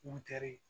Butɛri